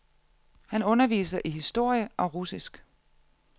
Han underviser i historie og russisk.